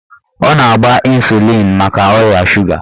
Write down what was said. Ọ na-agba ịsụlịn maka ọrịa suga